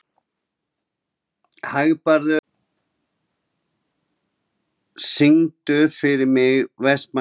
Hagbarður, syngdu fyrir mig „Vestmannaeyjabær“.